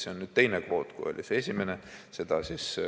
See on nüüd teine kvoot, kui oli see esimene.